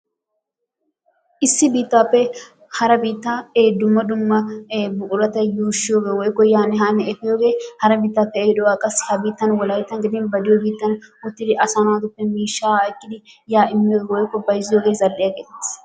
Issi biittaappe ee hara biittaa dumma dumma ee buqurata yuushshiyogee woykko yaanne haanne efiyogee hara biittappe ehiidoogaa qassi hagan wolayttan gidin ba diyo biittan go'ettidi asaa naatuppe miishshaa ekkidi yaa immiyogee woykko bayzziyogee zal"iya geetettees.